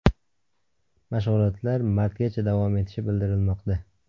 Mashg‘ulotlar martgacha davom etishi bildirilmoqda.